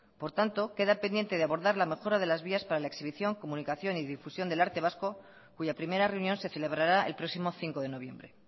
por tanto queda pendiente de abordar la mejora de las vías para exhibición comunicación y difusión del arte vasco cuya primera reunión se celebrará el próximo cinco de noviembre